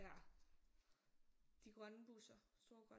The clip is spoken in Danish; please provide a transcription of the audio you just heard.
De grønne busser store grønne